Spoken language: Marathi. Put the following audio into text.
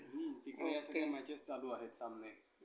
हम्म. तिकडे या matches चालू आहेत सामने.